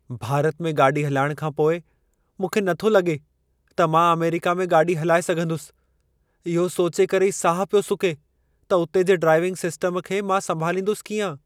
भारत में गाॾी हलाइण खां पोइ मूंखे नथो लॻे त मां अमेरिका में गाॾी हलाए सघंदुसि। इहो सोचे करे ई साहु पियो सुके त उते जे ड्राइविंग सिस्टम खे मां संभालींदुसि कीअं?